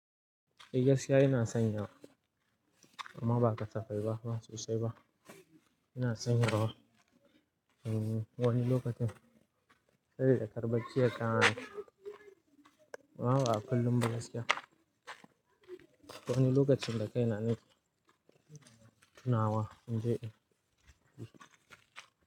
E gaskiya ina sanyawa amma ba ka tafai ba, ba sosai ba. Yana sanyarwa. Hmm wani lokacin sabe kar bacci yakamani amma ba a kullum ba. Gaskiya. Wani lokacin da kai na nake tunawa in je in.